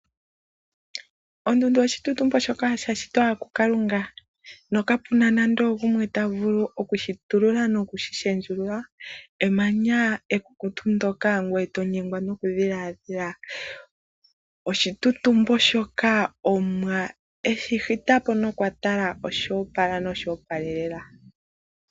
Ondundu oya shitwa kuKalunga nokapu na nando ogumwe ta vulu oku yi shitulula noku yi lundulula. Emanya ekukutu ngoye to nyengwa nokudhiladhila. Emanya ndyoka Omuwa a shita po nokwa tala lyo opala noly a opalelela.